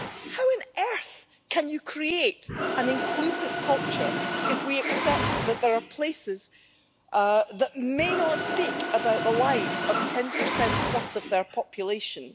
How on earth can you create an inclusive culture if we accept that there are places that may not speak about the lives of 10 plus of their populations?